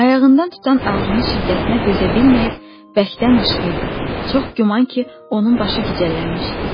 Ayağından tutan ağrının şiddətinə dözə bilməyib bərkdən qışqırdı, çox güman ki, onun başı gicəllənmişdi.